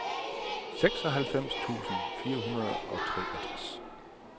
seksoghalvfems tusind fire hundrede og treogtres